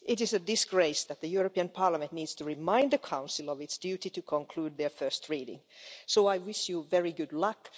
It is a disgrace that the European Parliament needs to remind the Council of its duty to conclude their first reading, so I wish you very good luck.